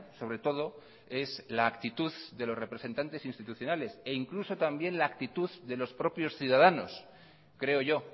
sobre todo es la actitud de los representantes institucionales e incluso también la actitud de los propios ciudadanos creo yo